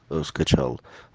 скачал